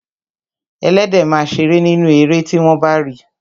Ẹléde ma ṣeré nínú erè tí wọ́n bá ri